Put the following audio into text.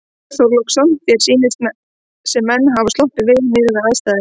Björn Þorláksson: Þér sýnist sem menn hafi sloppið vel miðað við aðstæður?